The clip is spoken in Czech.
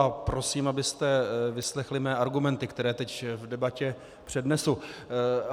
A prosím, abyste vyslechli mé argumenty, které teď v debatě přednesu.